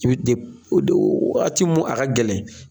I bɛ waati mun a ka gɛlɛ.